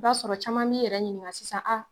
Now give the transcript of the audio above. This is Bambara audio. I b'a sɔrɔ caman min yɛrɛ ɲininka sisan